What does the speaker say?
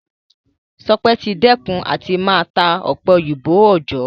Ṣọpẹ́ ti dẹ́kun àti máa ta ọ̀pẹ-òyìnbó òòjọ́